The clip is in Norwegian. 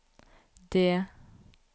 det